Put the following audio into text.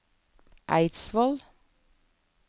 Eidsvoll